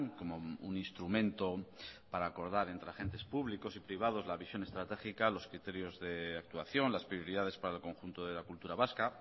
como un instrumento para acordar entre agentes públicos y privados la visión estratégica los criterios de actuación las prioridades para el conjunto de la cultura vasca